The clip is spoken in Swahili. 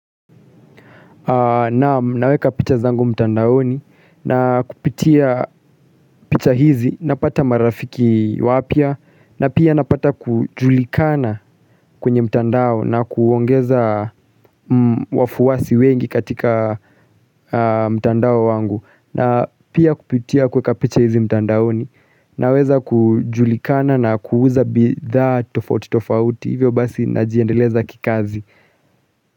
Naam naweka picha zangu mtandaoni na kupitia picha hizi napata marafiki wapya na pia napata kujulikana kwenye mtandao na kuongeza wafuwasi wengi katika mtandao wangu na pia kupitia kuweka picha hizi mtandaoni na weza kujulikana na kuuza bidhaa tofauti tofauti hivyo basi najiendeleza kikazi.